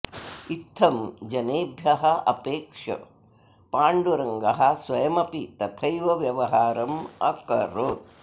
इत्थम् जनेभ्यः अपेक्ष्य पाण्डुरङ्गः स्वयमपि तथैव व्यवहारम् अकरोत्